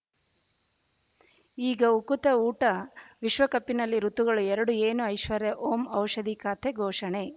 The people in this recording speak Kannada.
ಈಗ ಉಕುತ ಊಟ ವಿಶ್ವಕಪಿ ನಲ್ಲಿ ಋತುಗಳು ಎರಡು ಏನು ಐಶ್ವರ್ಯಾ ಓಂ ಔಷಧಿ ಖಾತೆ ಘೋಷಣೆ